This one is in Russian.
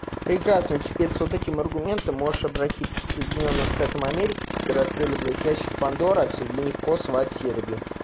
прекрасный теперь с этим аргументом можешь обратиться к соединённым штатам америки которые открыли блядь ящик пандоры отсоединить в косово от сербии